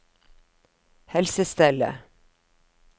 helsestellet